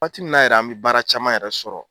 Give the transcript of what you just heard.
Waati min na yɛrɛ an mɛ baara caman yɛrɛ sɔrɔ.